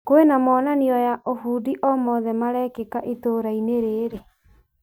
Kwĩna monanio ya ũbundi o mothe marekĩka itũra-inĩ rĩrĩ ?